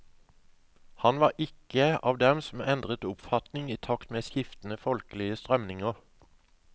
Han var ikke av dem som endret oppfatning i takt med skiftende folkelige strømninger.